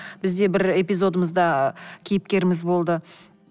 бізде бір эпизодымызда кейіпкеріміз болды